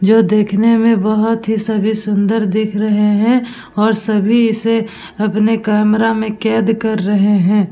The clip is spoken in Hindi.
जो देखने में सभी बोहोत ही सभी सुंदर दिख रहे हैं और सभी इसे अपने कैमरा में कैद कर रहे हैं।